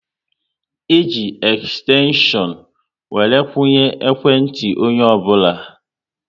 E ji ekstenshion were kwunye ikwe ntị onye ọbụla